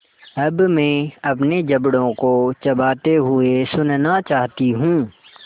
अब मैं अपने जबड़ों को चबाते हुए सुनना चाहती हूँ